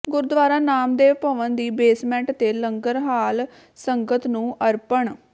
ਗੁਰਦੁਆਰਾ ਨਾਮਦੇਵ ਭਵਨ ਦੀ ਬੇਸਮੈਂਟ ਤੇ ਲੰਗਰ ਹਾਲ ਸੰਗਤ ਨੂੰ ਅਰਪਣ